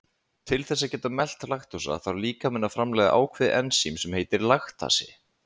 Til þess að geta melt laktósa þarf líkaminn að framleiða ákveðið ensím sem heitir laktasi.